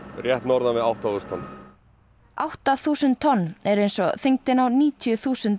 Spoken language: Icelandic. rétt norðan við átta þúsund tonn átta þúsund tonn eru eins og þyngdin á níutíu þúsund